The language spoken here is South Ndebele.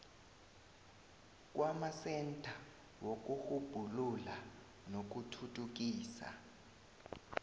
kwamasentha wokurhubhulula nokuthuthukisa